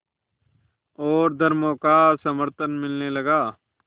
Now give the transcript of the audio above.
और धर्मों का समर्थन मिलने लगा